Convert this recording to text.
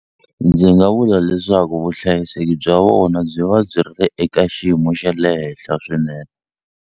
Ndzi nga vula leswaku vuhlayiseki bya vona byi va byi ri eka xiyimo xa le henhla swinene.